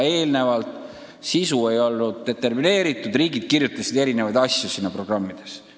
Varem sisu ei olnud determineeritud ja riigid kirjutasid erinevaid asju nendesse programmidesse.